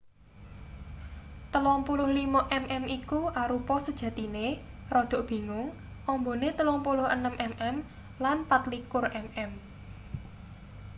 35mm iku arupa sejatine rada bingung ambane 36mm lan 24mm